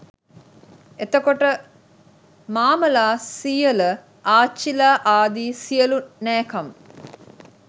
එතකොට මාමලා සීයල ආච්චිලා ආදී සියලු නෑකම්